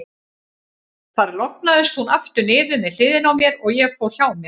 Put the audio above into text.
Þar lognaðist hún aftur niður með hliðinni á mér, og ég fór hjá mér.